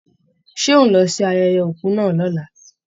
Ṣé ó ń lọ sí ayẹyẹ òkú náà lọ̀la?